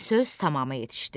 Söz tamamı yetişdi.